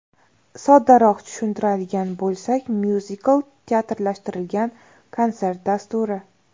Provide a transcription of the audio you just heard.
Soddaroq tushuntiradigan bo‘lsak, myuzikl teatrlashtirilgan konsert dasturi.